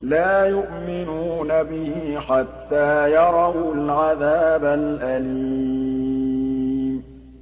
لَا يُؤْمِنُونَ بِهِ حَتَّىٰ يَرَوُا الْعَذَابَ الْأَلِيمَ